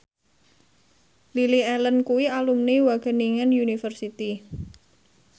Lily Allen kuwi alumni Wageningen University